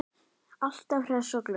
Alltaf hress og glöð.